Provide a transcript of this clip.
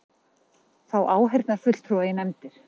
Fá áheyrnarfulltrúa í nefndir